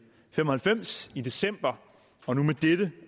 fem og halvfems i december og nu med dette